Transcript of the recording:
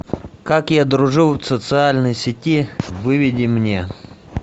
как я дружил в социальной сети выведи мне